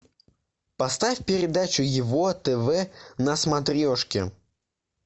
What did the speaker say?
поставь передачу его тв на смотрешке